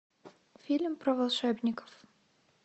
фильм про волшебников